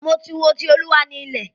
Mo ti wo "Ti Olúwa ni ilẹ̀".